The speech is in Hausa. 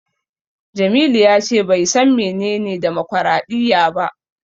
Jamilu ya ce bai san menene demokwaraɗiyya ba.